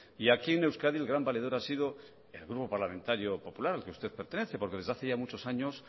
y aquí en euskadi el gran valedor ha sido el grupo parlamentario popular al que usted pertenece porque desde hace ya muchos años